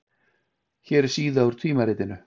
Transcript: hér er síða úr tímaritinu